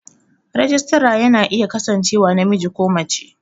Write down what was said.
Rajistara ya na iya kasancewa namiji ko mace